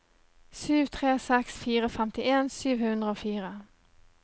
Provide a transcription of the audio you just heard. sju tre seks fire femtien sju hundre og fire